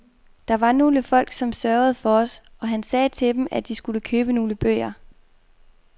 Der var nogle folk, som sørgede for os, og han sagde til dem, at de skulle købe nogle bøger.